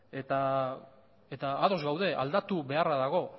eta ados gaude aldatu beharra dago